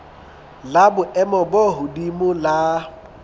la boemo bo hodimo la